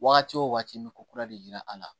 Wagati wo wagati n bɛ ko kura de yira a la